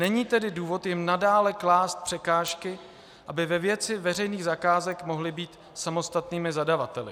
Není tedy důvod jim nadále klást překážky, aby ve věci veřejných zakázek mohly být samostatnými zadavateli.